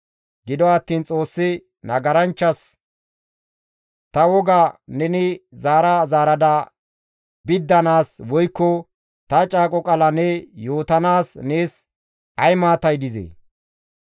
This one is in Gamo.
Gido attiin Xoossi nagaranchchas, «Ta woga neni zaara zaarada biddanaas woykko ta caaqo qaala ne yootanaas nees ay maatay dizee?